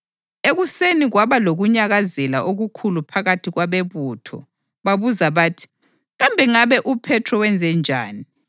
Ekuseni kwaba lokunyakazela okukhulu phakathi kwabebutho. Babuza bathi, “Kambe ngabe uPhethro wenzenjani?”